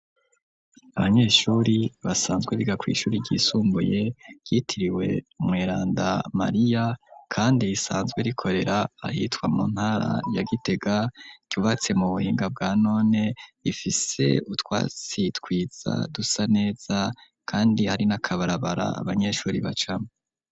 Abanyeshuri basanzwe biga kuishuri ry'isumbuye yitiriwe umweranda mariya kandi isanzwe rikorera ahitwa mu ntara ya gitega ryubatse mu buhinga bwa none ifise utwasitwitsa dusa neza kandi hari nakabarabara abanyeshuri bacamwo.